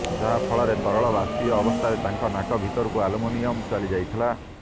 ଯାହା ଫଳରେ ତରଳ ବାଷ୍ପିୟ ଅବସ୍ଥାରେ ତାଙ୍କ ନାକ ଭିତରକୁ ଆଲୁମିନିୟମ ଚାଲିଯାଇଥିଲା